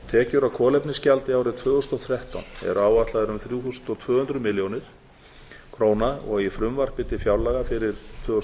tekjur af kolefnisgjaldi árið tvö þúsund og þrettán eru áætlaðar um þrjú þúsund og tvö hundruð milljóna króna og í frumvarpi til fjárlaga fyrir árið tvö þúsund